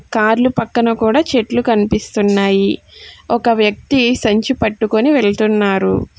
కార్లు పక్కన కూడా చెట్లు కనిపిస్తున్నాయి.ఒక వ్యక్తి సంచి పట్టుకొని వెళ్తున్నారు.